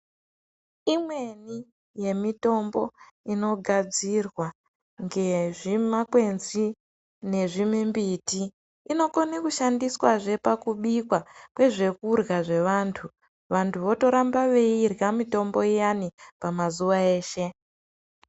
Imweni yemitombo inogadzirwa ngezvimakwenzi nezvimimbiti inokone kushandiswa zve pakubikwa kwezvekudyra vevantu. Vantu votoramba veirya mitombo iyani pamazuwa eshe.